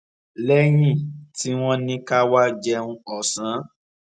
léyìn tí wón ní ká wá jẹun òsán